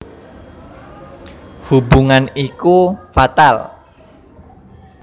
Hubungan iku fatal